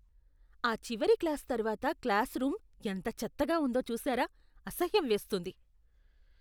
ఆ చివరి క్లాస్ తర్వాత క్లాసురూమ్ ఎంత చెత్తగా ఉందో చూశారా? అసహ్యం వేస్తోంది.